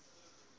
uys sê vroue